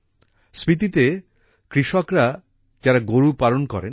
স্পিতিতে কৃষকরা যারা গরু পালন করেন